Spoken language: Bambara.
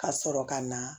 Ka sɔrɔ ka na